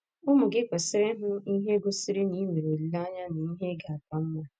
Ụmụ gị kwesịrị ịhụ ihe gosiri na i nwere olileanya n’ihe ga - aka mma.